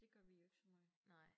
Det gør vi jo ikke så måj